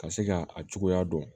Ka se ka a cogoya dɔn